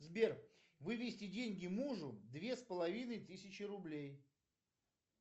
сбер вывести деньги мужу две с половиной тысячи рублей